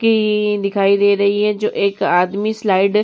की दिखाई दे रही है जो एक आदमी सिलाइडर --